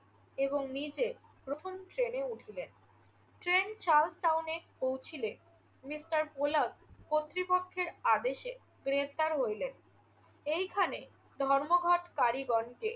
এবং নিজে প্রথম শ্রেণিতে উঠিলেন। ট্রেন সাউথ টাউনে পৌঁছিলে মিস্টার পোলক কর্তৃপক্ষের আদেশে গ্রেফতার হইলেন। এইখানে ধর্মঘটকারীগণকে